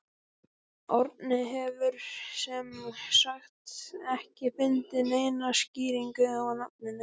Árni hefur sem sagt ekki fundið neina skýringu á nafninu.